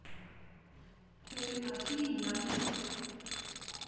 Til að hlýja mér.